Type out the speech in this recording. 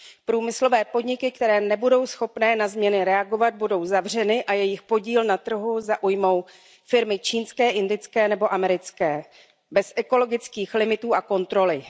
Průmyslové podniky, které nebudou schopny na změny reagovat, budou zavřeny a jejich podíl na trhu zaujmou firmy čínské, indické nebo americké bez ekologických limitů a kontroly.